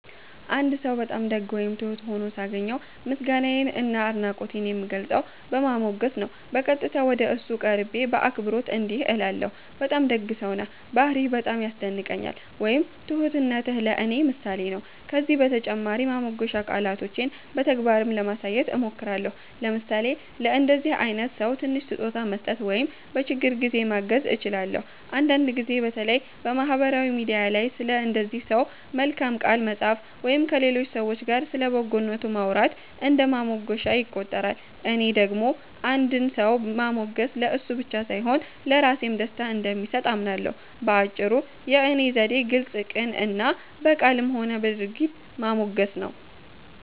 አንድ ሰው በጣም ደግ ወይም ትሁት ሆኖ ሳገኘው፣ ምስጋናዬን እና አድናቆቴን የምገልጸው በማሞገስ ነው። በቀጥታ ወደ እሱ ቀርቤ በአክብሮት እንዲህ እላለሁ፦ “በጣም ደግ ሰው ነህ፣ ባህርይህ በጣም ያስደንቀኛል” ወይም “ትሁትነትህ ለእኔ ምሳሌ ነው”። ከዚህ በተጨማሪ ማሞገሻ ቃላቶቼን በተግባርም ለማሳየት እሞክራለሁ፤ ለምሳሌ ለእንደዚህ አይነት ሰው ትንሽ ስጦታ መስጠት ወይም በችግር ጊዜ ማገዝ እችላለሁ። አንዳንድ ጊዜ በተለይ በማህበራዊ ሚዲያ ላይ ስለ እንደዚህ ሰው በመልካም ቃል መጻፍ ወይም ከሌሎች ሰዎች ጋር ስለ በጎነቱ ማውራት እንደ ማሞገሻ ይቆጠራል። እኔ ደግሞ አንድን ሰው ማሞገስ ለእሱ ብቻ ሳይሆን ለራሴም ደስታ እንደሚሰጥ አምናለሁ። በአጭሩ፣ የእኔ ዘዴ ግልጽ፣ ቅን እና በቃልም ሆነ በድርጊት ማሞገስ ነው።